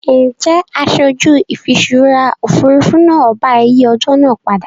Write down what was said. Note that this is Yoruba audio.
Ǹjẹ́ aṣojú ìfiṣúra Òfurufú náà bá ẹ yìí ọjọ́ náà padà?